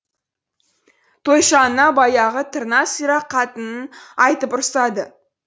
тойшы ана баяғы тырна сирақ қатынын айтып ұрсады